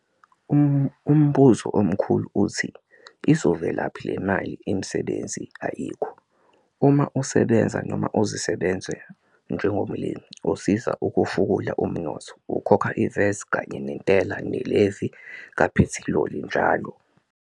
Umbuzo omkhulu uthi - izovelaphi le mali? Imisebenzi ayikho - uma usebenza, noma uzisebenza, njengomlimi, usiza ukufukula umnotho - ukhokha i-VAT, kanye nentela, ne-levy kaphethiloli njl.